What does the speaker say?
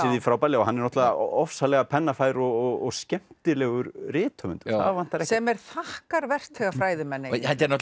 því frábærlega og hann er náttúrulega ofsalega pennafær og skemmtilegur rithöfundur það vantar ekki sem er þakkarvert þegar fræðimenn eiga